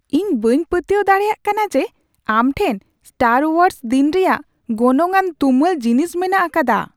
ᱤᱧ ᱵᱟᱹᱧ ᱯᱟᱹᱛᱭᱟᱹᱣ ᱫᱟᱲᱮᱭᱟᱜ ᱠᱟᱱᱟ ᱡᱮ ᱟᱢ ᱴᱷᱮᱱ ᱥᱴᱟᱨ ᱳᱣᱟᱨᱥ ᱫᱤᱱ ᱨᱮᱭᱟᱜ ᱜᱚᱱᱚᱝᱼᱟᱱ ᱛᱩᱢᱟᱹᱞ ᱡᱤᱱᱤᱥ ᱢᱮᱱᱟᱜ ᱟᱠᱟᱫᱟ ᱾ (ᱜᱟᱛᱮ ᱑)